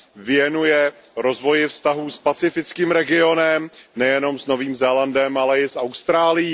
věnuje rozvoji vztahů s pacifickým regionem, nejenom s Novým Zélandem, ale i s Austrálií.